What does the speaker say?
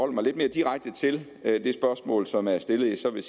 mig lidt mere direkte til det spørgsmål som er stillet så vil